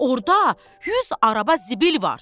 Orda 100 araba zibil var.